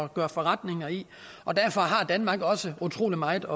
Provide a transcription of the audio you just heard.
gøre forretning i og derfor har danmark også utrolig meget